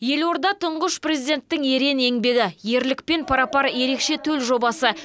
елорда тұңғыш президенттің ерен еңбегі ерлікпен пара пар ерекше төл жобасы